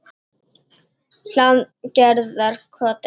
Hlaðgerðarkoti